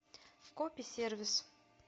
кописервис